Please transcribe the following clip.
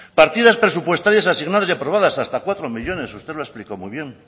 partidas presupuestarias asignadas y aprobadas hasta cuatro millónes usted lo ha explicado muy bien